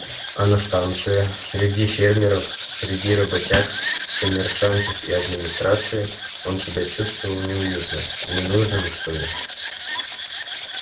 а на станции среди фермеров среди работяг коммерсантов и администрации он себя чувствовал неуютно ненужным что ли